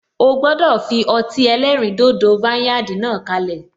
O gbọdọ fi ọtí ẹlẹ́rìn dodo vineyard náà kalẹ.